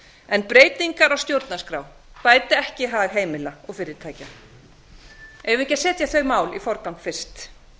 en breytingar á stjórnarskrá bæta ekki hag heimila og fyrirtækja eigum við ekki að setja þau mál í forgang fyrst